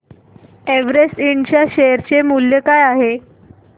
Everest Ind च्या share चे मूल्य काय आहे